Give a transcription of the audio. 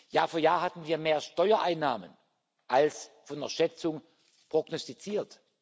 Jahr für Jahr hatten wir mehr Steuereinnahmen als von der Schätzung prognostiziert.